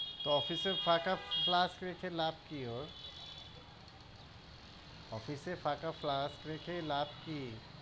office এ ফাকা flask রেখে লাভ কি ওর? office এ ফাকা flask রেখে লাভ কি?